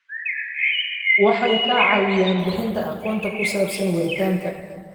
Waxay ka caawiyaan bixinta aqoonta ku saabsan waaritaanka.